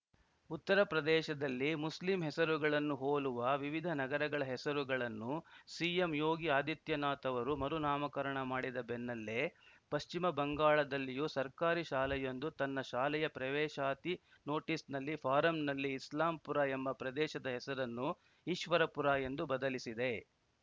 ಉತ್ತರ ಪ್ರದೇಶದಲ್ಲಿ ಮುಸ್ಲಿಂ ಹೆಸರುಗಳನ್ನು ಹೋಲುವ ವಿವಿಧ ನಗರಗಳ ಹೆಸರುಗಳನ್ನು ಸಿಎಂ ಯೋಗಿ ಆದಿತ್ಯನಾಥ್‌ ಅವರು ಮರು ನಾಮಕರಣ ಮಾಡಿದ ಬೆನ್ನಲ್ಲೇ ಪಶ್ಚಿಮ ಬಂಗಾಳದಲ್ಲಿಯೂ ಸರ್ಕಾರಿ ಶಾಲೆಯೊಂದು ತನ್ನ ಶಾಲೆಯ ಪ್ರವೇಶಾತಿ ನೋಟಿಸ್‌ನಲ್ಲಿ ಫಾರಂನಲ್ಲಿ ಇಸ್ಲಾಂಪುರ ಎಂಬ ಪ್ರದೇಶದ ಹೆಸರನ್ನು ಈಶ್ವರಪುರ ಎಂದು ಬದಲಿಸಿದೆ